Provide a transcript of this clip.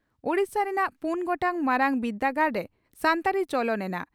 ᱳᱰᱤᱥᱟ ᱨᱮᱱᱟᱜ ᱯᱩᱱ ᱜᱚᱴᱟᱝ ᱢᱟᱨᱟᱝ ᱵᱤᱨᱫᱟᱹᱜᱟᱲᱨᱮ ᱥᱟᱱᱛᱟᱲᱤ ᱪᱚᱞᱚᱱ ᱮᱱᱟ